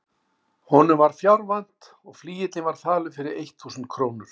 Honum var fjár vant og flygillinn var falur fyrir eitt þúsund krónur.